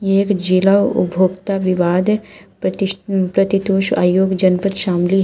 एक जिला उपभोक्ता विवाद प्रति प्रतितोष आयोग जनपद शामली है।